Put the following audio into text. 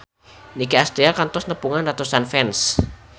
Nicky Astria kantos nepungan ratusan fans